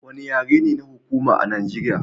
Wanne yare ne na hukuma a Nageriya.